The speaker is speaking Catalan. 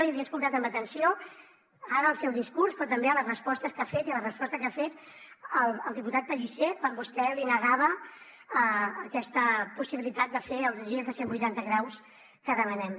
i l’he escoltat amb atenció ara al seu discurs però també a les respostes que ha fet i a la resposta que ha fet al diputat pellicer quan vostè li negava aquesta possibilitat de fer el gir de cent vuitanta graus que demanem